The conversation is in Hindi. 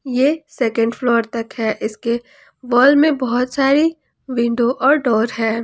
ये सेकेंड फ्लोर तक है इसके वॉल में बहुत सारी विंडो और डोर है।